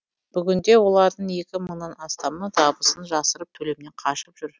бүгінде олардың екі мыңнан астамы табысын жасырып төлемнен қашып жүр